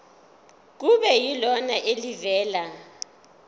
kube yilona elivela